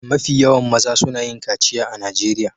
Mafi yawan mazan suna yin kaciya a Najeriya.